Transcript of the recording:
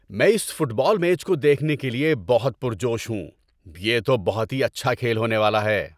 میں اس football match کو دیکھنے کے لیے بہت پرجوش ہوں! یہ تو بہت ہی اچھا کھیل ہونے والا ہے۔